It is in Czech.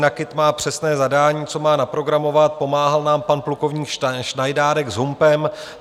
NAKIT má přesné zadání, co má naprogramovat, pomáhal nám pan plukovník Šnajdárek s Humpem.